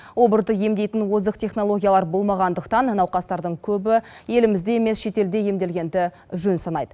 обырды емдейтін озық технологиялар болмағандықтан науқастардың көбі елімізде емес шетелде емделгенді жөн санайды